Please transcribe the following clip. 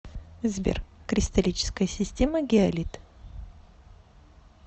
сбер кристаллическая система гиалит